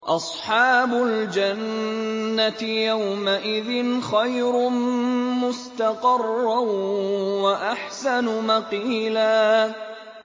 أَصْحَابُ الْجَنَّةِ يَوْمَئِذٍ خَيْرٌ مُّسْتَقَرًّا وَأَحْسَنُ مَقِيلًا